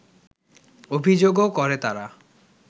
অভিযোগও করে তারা